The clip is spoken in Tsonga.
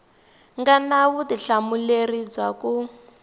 nga na vutihlamuleri bya ku